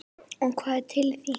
Og hvað er til í því?